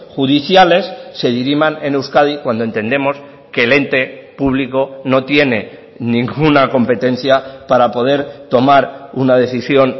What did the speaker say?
judiciales se diriman en euskadi cuando entendemos que el ente público no tiene ninguna competencia para poder tomar una decisión